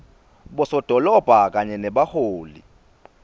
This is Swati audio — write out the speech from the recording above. bosodolobha kanye nebaholi